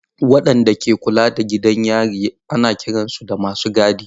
Waɗanda ke kula da gidajen yari ana kiransu da masu gadi.